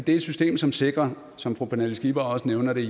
er et system som sikrer som fru pernille skipper også nævner det